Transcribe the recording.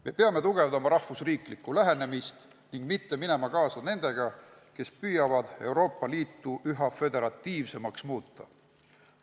Me peame tugevdama rahvusriiklikku lähenemist ning mitte minema kaasa nendega, kes püüavad Euroopa Liitu üha föderatiivsemaks muuta.